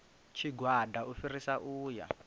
tshigwada u fhirisa u ya